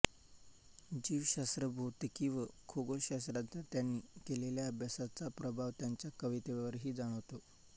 जीवशास्त्र भौतिकी व खगोलशास्त्राचा त्यांनी केलेल्या अभ्यासाचा प्रभाव त्यांच्या कवितेवरही जाणवतो